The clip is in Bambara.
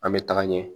An bɛ taga ɲɛ